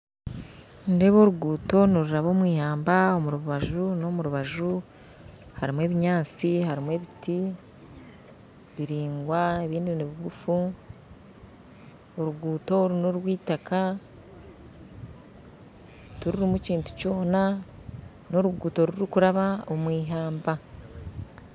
Nindeeba oruguto niruraba omwihamba omurubaju n'omurubaju harimu ebinyaatsi harimu ebiti biraingwa ebindi nibiguufu oruguto oru n'orw'itaaka tirurimu kintu kyona n'oruguto rurikuraba omwihamba